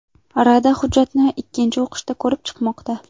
Rada hujjatni ikkinchi o‘qishda ko‘rib chiqmoqda.